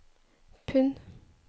pund